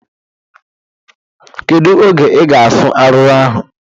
Kedu oge ị ga-afụ arụrụ ahụ?